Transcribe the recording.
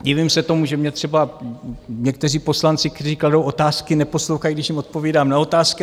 Divím se tomu, že mě třeba někteří poslanci, kteří kladou otázky, neposlouchají, když jim odpovídám na otázky.